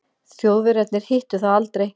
Þjóðverjarnir hittu það aldrei.